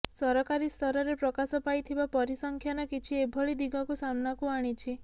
ସରକାରୀ ସ୍ତରରେ ପ୍ରକାଶ ପାଇଥିବା ପରିସଂଖ୍ୟାନ କିଛି ଏଭଳି ଦିଗକୁ ସାମ୍ନାକୁ ଆଣିଛି